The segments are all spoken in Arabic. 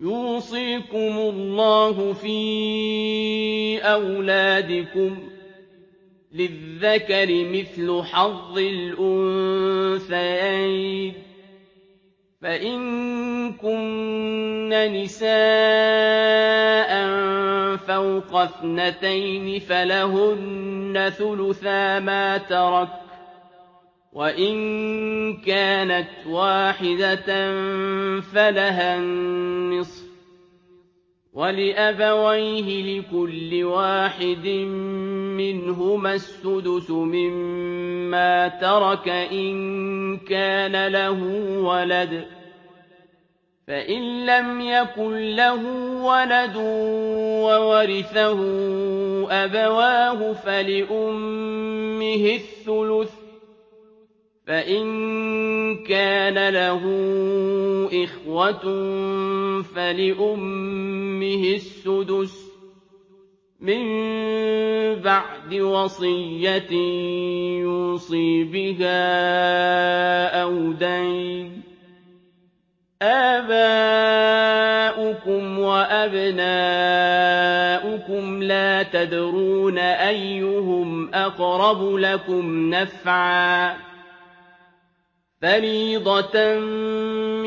يُوصِيكُمُ اللَّهُ فِي أَوْلَادِكُمْ ۖ لِلذَّكَرِ مِثْلُ حَظِّ الْأُنثَيَيْنِ ۚ فَإِن كُنَّ نِسَاءً فَوْقَ اثْنَتَيْنِ فَلَهُنَّ ثُلُثَا مَا تَرَكَ ۖ وَإِن كَانَتْ وَاحِدَةً فَلَهَا النِّصْفُ ۚ وَلِأَبَوَيْهِ لِكُلِّ وَاحِدٍ مِّنْهُمَا السُّدُسُ مِمَّا تَرَكَ إِن كَانَ لَهُ وَلَدٌ ۚ فَإِن لَّمْ يَكُن لَّهُ وَلَدٌ وَوَرِثَهُ أَبَوَاهُ فَلِأُمِّهِ الثُّلُثُ ۚ فَإِن كَانَ لَهُ إِخْوَةٌ فَلِأُمِّهِ السُّدُسُ ۚ مِن بَعْدِ وَصِيَّةٍ يُوصِي بِهَا أَوْ دَيْنٍ ۗ آبَاؤُكُمْ وَأَبْنَاؤُكُمْ لَا تَدْرُونَ أَيُّهُمْ أَقْرَبُ لَكُمْ نَفْعًا ۚ فَرِيضَةً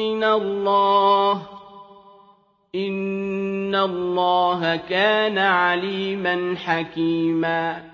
مِّنَ اللَّهِ ۗ إِنَّ اللَّهَ كَانَ عَلِيمًا حَكِيمًا